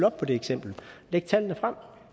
op på det eksempel læg tallene frem